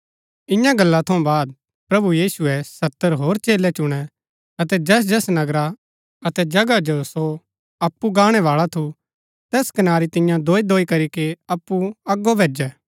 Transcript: ईयां गल्ला थऊँ बाद प्रभु यीशुऐ सत्तर होर चेलै चुणै अतै जैसजैस नगरा अतै जगहा जो सो अप्पु गाणै बाळा थू तैस कनारी तिआंओ दोईदोई करीके अप्पु अगो भैजै